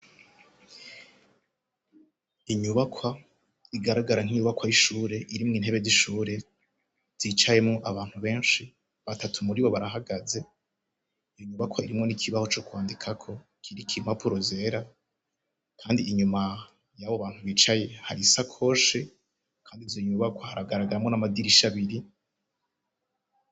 Inyubakwa igaragara nk'inyubakwa y'ishure irimwe intebe z'ishure. Zicayemo abantu benshi batatu muri bo barahagaze iyo nyubakwa irimwe n'ikibaho co kwandika ko kiriki i mpapuro zera kandi inyuma y'abo bantu bicaye hari isakoshi kandi izo nyubakwa haragaragaramo n'amadirisha abiri.